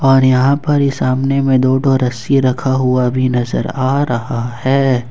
और यहां पर ही सामने में दो दो रस्सी रखा हुआ भी नजर आ रहा है।